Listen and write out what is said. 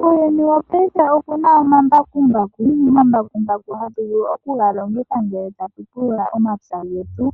Muuyuni wopayife omuna omambakumbaku. Omambakumbaku hatu vulu okuga longitha ngele tatu pulula omapya getu